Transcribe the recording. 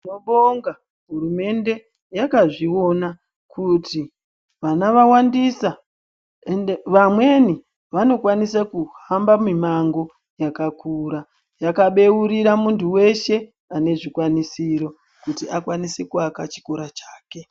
Tinobonga hurumende, yakazviona kuti ana vawandisa ende vamweni vanokwanisa kuhamba mimango yakakura yakabeurira munhu wese anezvikwanisiro kuti akwanise kuaka chikora chake.